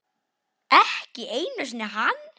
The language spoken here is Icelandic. Ekki einu sinni hann.